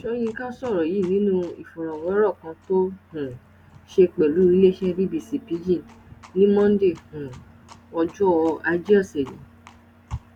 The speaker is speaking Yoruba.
soyinka sọrọ yìí nínú ìọfọwérọ kan tó um ṣe pẹlú iléeṣẹ bbc pidgin ní monde um ọjọ ajé ọsẹ yìí